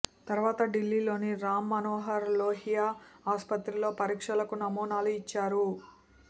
తరువాత ఢిల్లీలోని రామ్ మనోహర్ లోహియా ఆసుపత్రిలో పరీక్షలకు నమూనాలు ఇచ్చారు